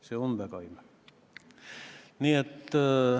See on väga imelik!